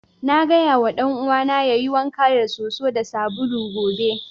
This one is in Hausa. Na gaya ma dan'uwana yayi wanka da soso da sabulu gobe.